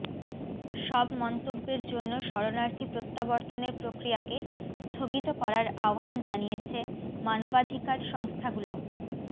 সব মন্তব্যের জন্য শরণার্থী প্রত্যাবর্তনের প্রক্রিয়াকে স্থগিত করার আহবান জানিয়েছে মানবাধিকার সংস্থাগুলো